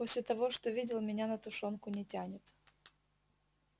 после того что видел меня на тушёнку не тянет